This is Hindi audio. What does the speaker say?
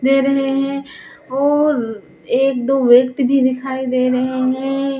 दे रहे हैं और एक दो व्यक्ति भी दिखाई दे रहे हैं।